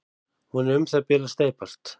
Hún er um það bil að steypast.